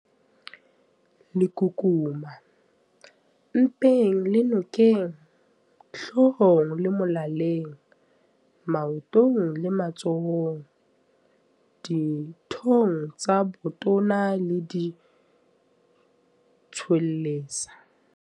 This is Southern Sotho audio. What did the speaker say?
Lekukuma- Mpeng le nokeng, hloohong le molaleng, maotong le matsohong, dithong tsa botona le ditshwelesa.